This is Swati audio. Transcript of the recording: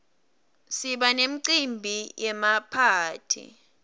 siba nemicimbi yemaphathi